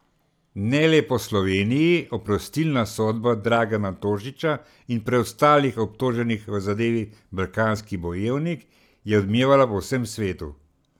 Ne le po Sloveniji, oprostilna sodba Dragana Tošića in preostalih obtoženih v zadevi Balkanski bojevnik, je odmevala po vsem svetu.